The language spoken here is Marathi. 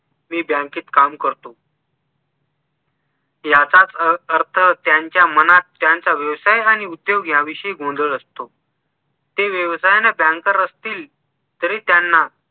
मी बँकेत काम करतो याचाच अर्थ त्यांच्या मनात त्यांचा व्यवसाय आणि उद्योग याविषयी गोंधळ असतो ते व्यवसायाने banker असतील तरी त्यांना